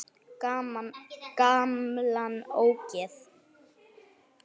Gamla ógeð!